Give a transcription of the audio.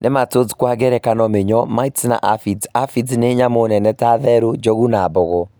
Nematodes Kwa ngerekano mĩnyoo, mites na alphids, alphids nĩ nyamũ nene ta therũ, njogu, na mbogo